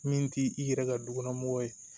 Min t'i i yɛrɛ ka dukɔnɔ mɔgɔ ye